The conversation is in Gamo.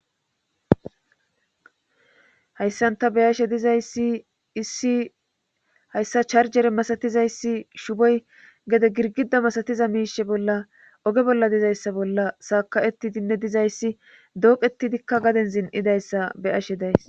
Hayssanta beyashe dizayssi issi hayssa charjere masatizayssi shuboy gede girgida masatiza miishe bolla oge bolla dizayssa bolla saaka7etidinne dizayssi dooqetidikka gaden zin7idayssa be ashe days.